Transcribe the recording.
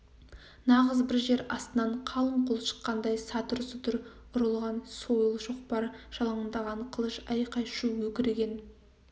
нағыз бір жер астынан қалың қол шыққандай сатыр-сұтыр ұрыл- ған сойыл шоқпар жалаңдаған қылыш айқай-шу өкірген